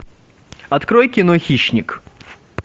открой кино хищник